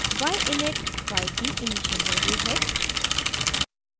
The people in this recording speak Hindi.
y init y की इनिशियल वैल्यू है